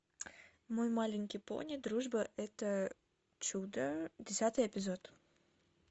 мой маленький пони дружба это чудо десятый эпизод